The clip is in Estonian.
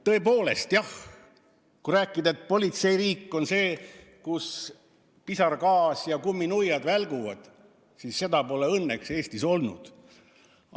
Tõepoolest, kui rääkida, et politseiriik on riik, kus kasutatakse pisargaasi ja kumminuiad välguvad, siis seda pole õnneks Eestis olnud.